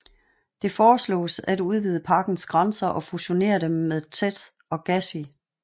Det foreslås at udvide parkens grænser og fusionere den med Theth og Gashi